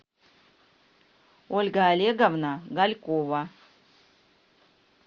ольга олеговна галькова